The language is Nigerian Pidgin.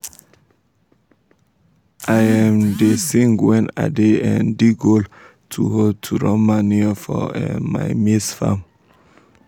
i um da sing wen i da um dig hole to hole to run manure for um my maize farm